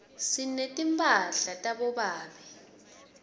sinetimphala tabobabe